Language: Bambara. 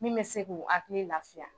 Min bɛ se a k'u hakili lafiya